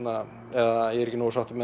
eða ég er ekki nógu sáttur